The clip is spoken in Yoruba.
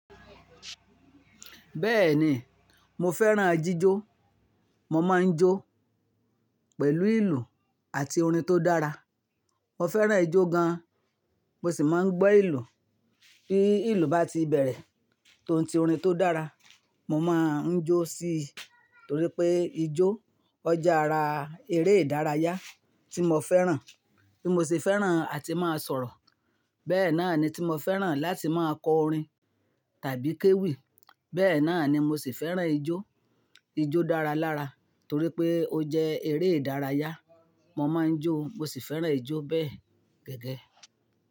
Bẹ́ẹ̀ni, mo fẹ́ràn jíjó. Mo máa ń jó pẹ̀lú ìlù àti orin tó dára. Mo fẹ́ràn ijó gan, mo sì máa ń gbọ́ ìlù. Bí ìlù bá ti bẹ̀rẹ̀ tó ouń ti orin tó dára, mo máa ń jó sí i torí pé ijó o je ara eré ìdárayá tí mo fẹ́ràn, bí mo se fẹ́ràn àti máa sọ̀rọ̀. Bẹ́ẹ̀ náà ni tí mo fẹ́ràn láti máa kọ orin tàbí kéwì. Bẹ́ẹ̀ náà ni mo sì fẹ́ràn ijó, ijó dára lára torí pé ó jẹ́ eré ìdárayá. Mo máa ń jó, mo sì fẹ́ràn ijó bẹ́ẹ̀ gẹ́gẹ́.